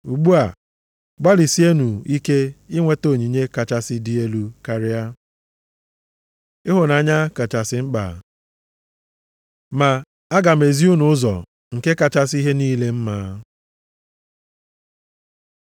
Ugbu a, gbalịsienụ ike inweta onyinye kachasị dị elu karịa. Ịhụnanya kachasị mkpa Ma aga m ezi unu ụzọ nke kachasị ihe a niile mma.